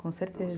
Com certeza.